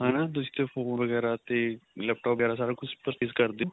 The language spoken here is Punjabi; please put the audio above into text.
ਹਨਾ ਤੁਸੀਂ phone ਵਗੈਰਾ ਤੇ laptopਵਗੈਰਾ ਸਾਰਾ ਕੁੱਝ purchase ਕਰਦੇ ਓ